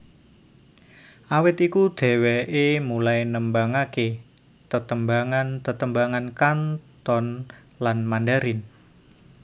Awit iku dheweké mulai nembangaké tetembangan tetembangan Kanton lan Mandarin